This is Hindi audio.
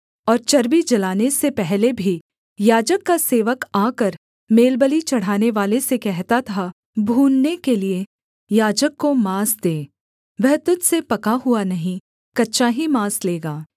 और चर्बी जलाने से पहले भी याजक का सेवक आकर मेलबलि चढ़ानेवाले से कहता था भूनने के लिये याजक को माँस दे वह तुझ से पका हुआ नहीं कच्चा ही माँस लेगा